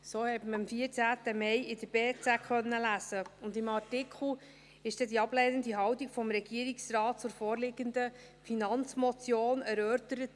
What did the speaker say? So konnte man es am 14. Mai 2019 in der «Berner Zeitung (BZ)» lesen, und im Artikel wurde die ablehnende Haltung des Regierungsrates zur vorliegenden Finanzmotion erörtert.